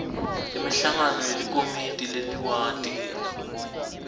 imihlangano yelikomidi leliwadi